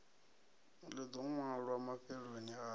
ḽi ḓo ṅwalwa mafheloni a